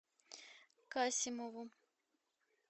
касимову